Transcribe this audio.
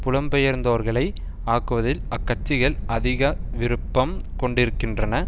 புலம்பெயர்ந்தோர்களை ஆக்குவதில் அக்கட்சிகள் அதிக விருப்பம் கொண்டிருக்கின்றன